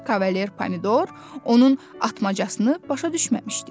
Kavalier Pomidor onun atmasını başa düşməmişdi.